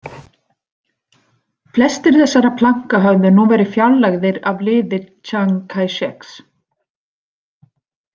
Flestir þessara planka höfðu nú verið fjarlægðir af liði Tsjang Kæsjeks.